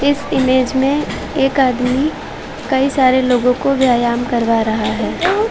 इस इमेज में एक आदमी कई सारे लोगों को व्यायाम करवा रहा है।